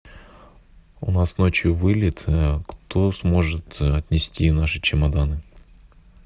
у нас ночью вылет кто сможет отнести наши чемоданы